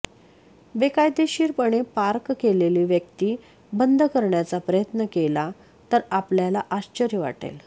बेकायदेशीरपणे पार्क केलेली व्यक्ती बंद करण्याचा प्रयत्न केला तर आपल्याला आश्चर्य वाटेल